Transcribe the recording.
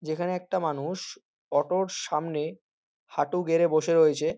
যেখানে একটা মানু-উ-ষ অটো র সামনে হাঁটু গেড়ে বসে রয়েছে।